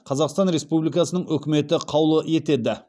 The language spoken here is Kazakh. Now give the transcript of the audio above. қазақстан республикасының үкіметі қаулы етеді